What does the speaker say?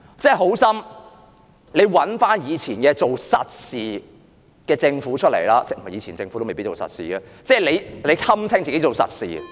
做好心，請找以前做實事的政府回來——不，以前的政府也未必做實事——她堪稱自己做實事......